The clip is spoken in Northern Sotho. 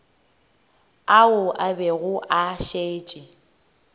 ao a bego a šetše